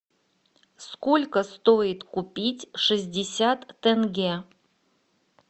сколько стоит купить шестьдесят тенге